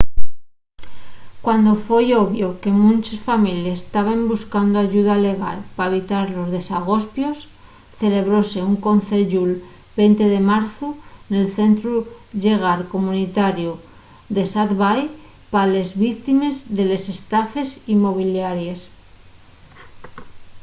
cuando foi obvio que munches families taben buscando ayuda llegal pa evitar los desagospios celebróse un conceyu'l 20 de marzu nel centru llegal comunitariu d'esat bay pa les víctimes de les estafes inmobiliaries